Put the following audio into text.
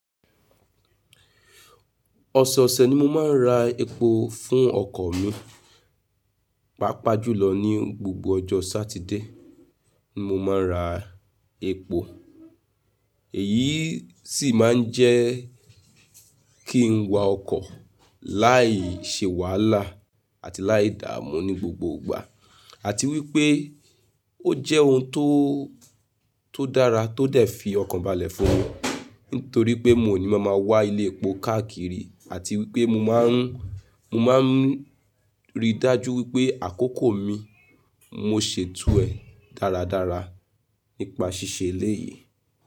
Ọ̀sọ̀ọ̀sẹ̀ ni mo máa ń ra epo fún ọkọ̀ mi, pàápàá jùlọ ní gbogbo ọjọ́ Sátidé ni mo máa ń ra epo. Èyí sì máa ń jẹ́ kí n wa ọkọ̀ láìṣe wàhálà àti láìdáàmú ní gbogbo ìgbà àti wípé ó jẹ́ ohun tó, tó dára tó dẹ̀ fi ọkan balẹ̀ fún mi nítorí pé mi ò ní máa ma wá ilé epo káàkiri àti wípé mo máa ń, mo máa ń ríi dájú wípé àkókò mi mo ṣèto ẹ̀ dáradára nípa ṣíṣe eléyìí.